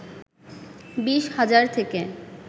২০ হাজার থেকে